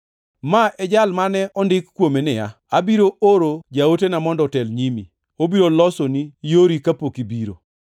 Ma e jal mane ondik kuome niya, “ ‘Abiro oro jaotena mondo otel e nyimi, obiro losoni yori kapok ibiro.’ + 7:27 \+xt Mal 3:1\+xt*